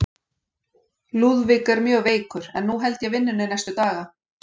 Lúðvík er mjög veikur, en nú held ég vinnunni næstu daga.